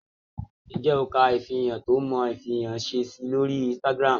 Ǹjẹ́ o kà ifìrànṣẹ̀ tó Mò fí rànṣẹ sí ọ̀ lọ́rí Instagram?